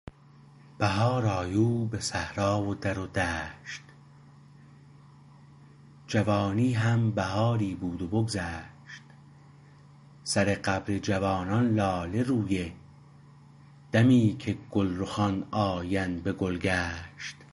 بهار آیو به صحرا و در و دشت جوانی هم بهاری بود و بگذشت سر قبر جوانان لاله رویه دمی که گلرخان آیند به گلگشت